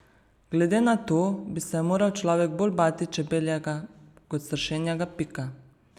Glede na to bi se moral človek bolj bati čebeljega kot sršenjega pika.